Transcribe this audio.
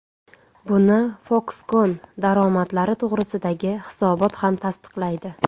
Buni Foxconn daromadlari to‘g‘risidagi hisobot ham tasdiqlaydi.